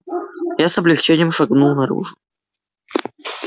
я с облегчением шагнул наружу